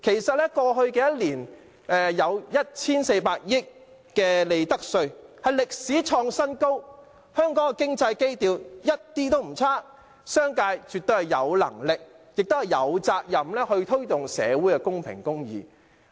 在過去一年，有 1,400 億元利得稅，創歷史新高，香港的經濟基調一點也不差，商界絕對有能力和責任推動社會公平和公義。